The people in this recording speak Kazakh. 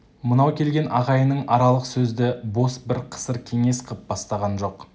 мынау келген ағайының аралық сөзді бос бір қысыр кеңес қып бастаған жоқ